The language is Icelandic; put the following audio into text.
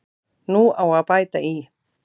Nú á að bæta í.